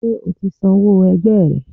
ṣe ọ tí sanwó ẹgbẹ rẹ?